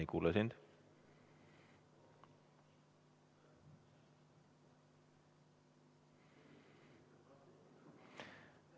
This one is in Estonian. Ei kuule sind!